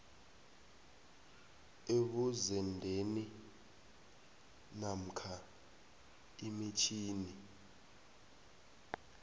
ebuzendeni namkha imitjhini